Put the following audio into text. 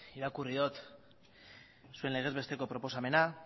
irakurri dut zuen legez besteko proposamena